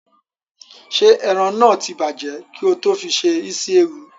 Ṣé ẹran náà tí bàjẹ́ kí ó tó fi se isi ewu?